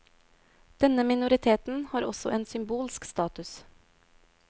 Denne minoriteten har også en symbolsk status.